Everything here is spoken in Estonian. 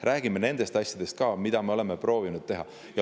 Räägime nendest asjadest ka, mida me oleme proovinud teha.